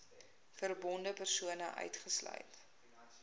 verbonde persone uitgesluit